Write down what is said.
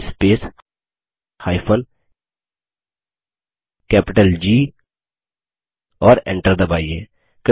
इद space जी और Enter दबाइए